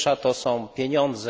Pierwsza to są pieniądze.